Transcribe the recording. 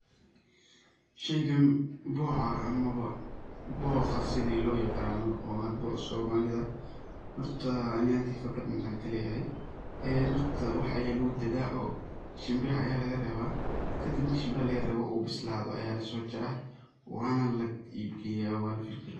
Sheygaan boca ama ba boqaa sidaa loo yiqana oo hadba somalida horta ani ahanteyda intan qibrad kaleyahay een horta wax aya lagu dadha oo shimbiraha aya laga rebaa, kadib marki shimbiraha laga rebo u bisladho aya lasojaraa waana la iib geyaa waana la finjilaa.